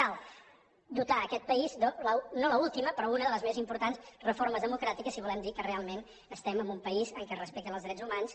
cal dotar aquest país de no l’última però una de les més importants reformes democràtiques si volem dir que realment estem en un país en què es respecten els drets humans